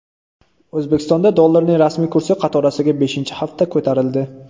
O‘zbekistonda dollarning rasmiy kursi qatorasiga beshinchi hafta ko‘tarildi.